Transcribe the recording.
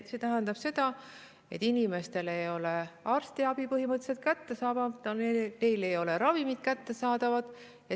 See tähendab seda, et inimestele ei ole arstiabi põhimõtteliselt kättesaadav, neile ei ole ravimid kättesaadavad.